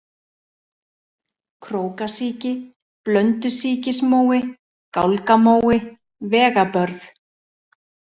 Krókasíki, Blöndusíkismói, Gálgamói, Vegabörð